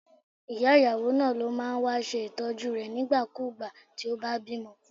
Ìyá ìyàwó náà ló máa ń wá ṣe Ìtọ́jú rẹ̀ nígbà kú ìgbà tí ó bá bímọ.